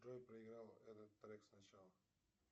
джой проиграй этот трек сначала